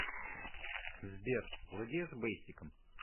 сбер владеешь бейсиком